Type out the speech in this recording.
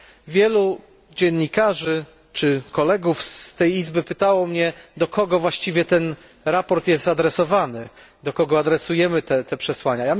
Wielu dziennikarzy czy kolegów z tej Izby pytało mnie, do kogo właściwie to sprawozdanie jest adresowane, do kogo adresujemy te przesłania.